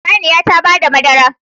Saniya ta bada madara